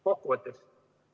Kokkuvõtteks.